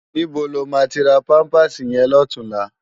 Nibó ló má ti rá pàmpásí yèn lòtúnlá?